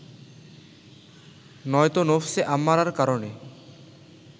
নয়তো নফসে আম্মারার কারণে